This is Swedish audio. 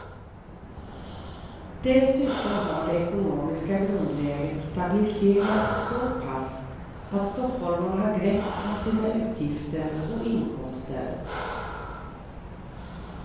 Dessutom har det ekonomiska grundläget stabiliserats så pass att stockholmarna har grepp om sina utgifter och inkomster.